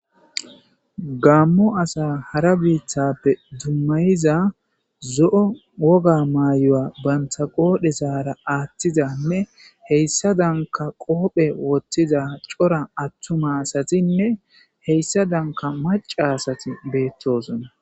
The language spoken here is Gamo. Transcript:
gammo asa hara biithappe dummayiza zo7o woga maayoya bantha qoodhe saara aaththizanne heyssa danka qoophe woththiza cora attuma asatinne heyssa danka maca asati beettosona